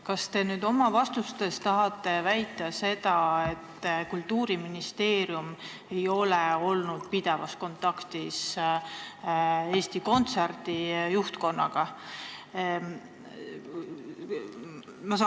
Kas te oma vastustega tahate väita, et Kultuuriministeerium ei ole olnud pidevas kontaktis Eesti Kontserdi juhtkonnaga?